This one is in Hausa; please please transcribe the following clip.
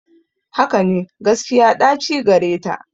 Hakane, gaskiya ɗaci gareta.